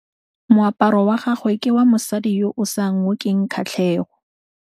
Moaparô wa gagwe ke wa mosadi yo o sa ngôkeng kgatlhegô.